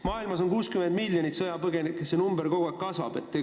Maailmas on 60 miljonit sõjapõgenikku ja see number kogu aeg kasvab.